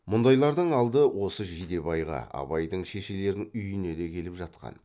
мұндайлардың алды осы жидебайға абайдың шешелерінің үйіне де келіп жатқан